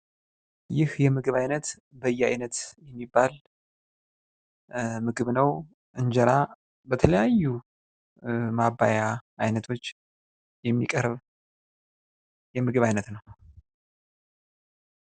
ይህ የምግብ አይነት በየአይነት የሚባል ምግብ ነው። እንጀራ በተለያዩ ማባያ አይነቶች የሚቀርብ የምግብ አይነት ነው ።